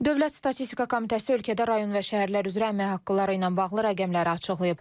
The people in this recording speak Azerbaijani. Dövlət statistika komitəsi ölkədə rayon və şəhərlər üzrə əmək haqqıları ilə bağlı rəqəmləri açıqlayıb.